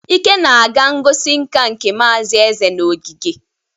Ike na-aga ngosi nká nke Mazi Eze na ogige.